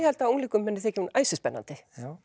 held að unglingum muni þykja hún æsispennandi